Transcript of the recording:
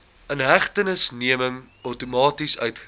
inhegtenisneming outomaties uitgereik